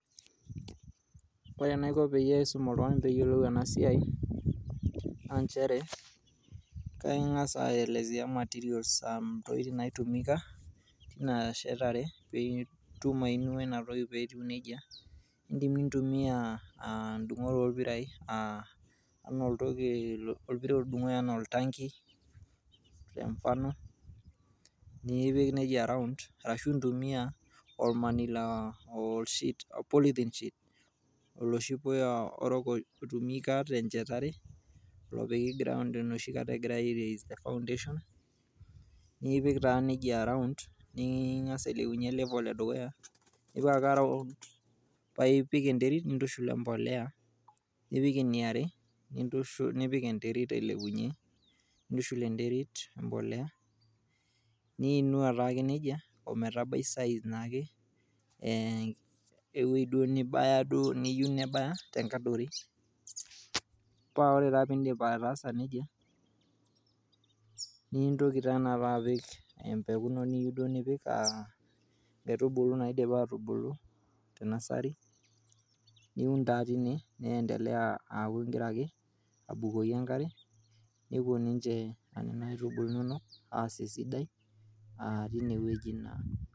Ore enaiko peyie aisum oltung'ani peyiolou enasiai, naa njere, kaing'asa aelezea materials um ntokiting nai tumika, ina shetare pitum ainua intoki petiu nejia. Idim nintumia dung'ot orpirai, enaa oltoki orpira otudung'oki enaa oltanki, te mfano, nipik nejia round, ashu intumia olmanila polythene sheet, oloshi puya orok oi tumika tenchetare, lopiki ground enoshi kata egirai ai raise te foundation, niipik taa nejia around, niing'asa ailepunye nejia level edukuya, nipik ake around paipik enteit nintushul empolea, nipik eniare nintushul nipik enterit ailepunye. Nintushul enterit empolea, niinua taake nejia ometabai size naake, ewoi duo nibaya duo niyieu nibaya tenkadori. Pa ore taa piidip ataasa nejia, nintoki taa tanakata apik empuku ino niyieu duo nipik, ah nkaitubulu naidipa atubulu te nasari, niun taa tine niendelea aaku gira ake abukoki enkare, nepuo ninche nena aitubulu inonok aas esidai, ah tinewueji naa.